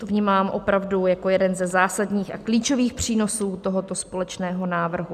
Tu vnímám opravdu jako jeden ze zásadních a klíčových přínosů tohoto společného návrhu.